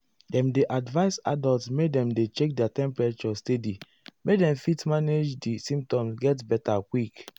dem dey advise adults make dem dey check their temperature steady make dem fit manage di symptoms get beta quick.